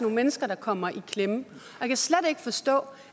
mennesker der kommer i klemme og ikke forstå